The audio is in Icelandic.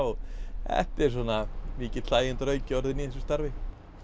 þetta er mikill orðinn í þessu starfi